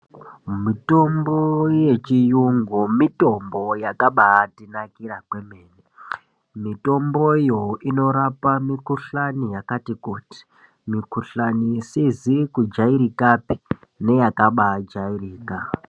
Mitombo yechiyungu mitombo yakabatinakira kwemene , mitombo iyo inorapa mikhuhlani yakati kuti mikhuhlani isizi kujairikapi neyakabajairika.